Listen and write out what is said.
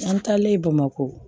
An taalen bamakɔ